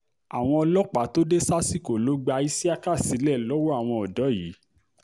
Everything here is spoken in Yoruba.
àwọn ọlọ́pàá tó dé sásìkò ló gba iṣíákà sílẹ̀ lọ́wọ́ àwọn ọ̀dọ́ yìí